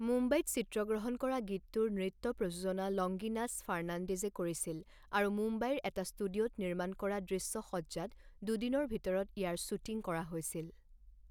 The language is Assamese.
মুম্বাইত চিত্ৰগ্ৰহণ কৰা গীতটোৰ নৃত্য প্ৰযোজনা লংগিনাছ ফাৰ্নাণ্ডেজে কৰিছিল আৰু মুম্বাইৰ এটা ষ্টুডিঅ'ত নিৰ্মাণ কৰা দৃশ্যসজ্জাত দুদিনৰ ভিতৰত ইয়াৰ শ্বুটিং কৰা হৈছিল।